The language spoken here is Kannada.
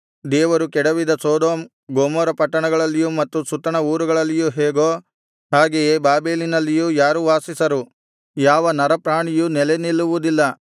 ದೇವರು ಕೆಡವಿದ ಸೊದೋಮ್ ಗೊಮೋರ ಪಟ್ಟಣಗಳಲ್ಲಿಯೂ ಮತ್ತು ಸುತ್ತಣ ಊರುಗಳಲ್ಲಿಯೂ ಹೇಗೋ ಹಾಗೆಯೇ ಬಾಬೆಲಿನಲ್ಲಿಯೂ ಯಾರೂ ವಾಸಿಸರು ಯಾವ ನರಪ್ರಾಣಿಯೂ ನೆಲೆ ನಿಲ್ಲುವುದಿಲ್ಲ